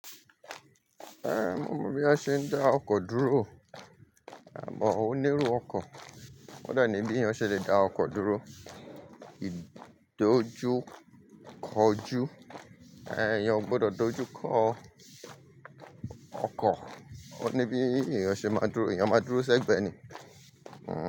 Eh, mo mọ bí a ṣe ń dá ọkọ̀ dúró, àmọ́ onírú ọkọ̀. Oee ní bí èèyàn ṣe le dá ọkọ̀ dúró. Í dojú kọ jú, eh, èèyàn o gbọdọ̀ dojú kọ ọkọ̀. Ó ní bí èèyàn ṣe máa dúró, èèyàn máa dúró sẹ́gbẹ̀ẹ́ ni.